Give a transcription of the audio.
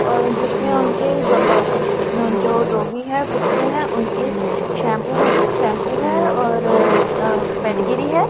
अह और जिसमें उनके दो अ कु अं जो डॉगी है कुत्ते है उनके शैम्पू मे शैम्पू है और अह पेडिग्री है।